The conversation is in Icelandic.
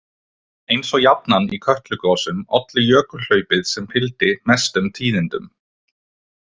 Eins og jafnan í Kötlugosum olli jökulhlaupið sem fylgdi mestum tíðindum.